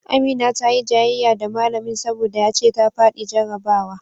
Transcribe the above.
Amina ta yi jayayya da malamin saboda ya ce ta faɗi jarrabawa